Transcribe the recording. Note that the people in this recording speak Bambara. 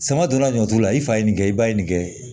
Sama donna ɲɔtu la i fa ye nin kɛ i ba ye nin kɛ